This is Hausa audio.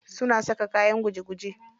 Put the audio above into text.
Suna saka kayan kuje kuje.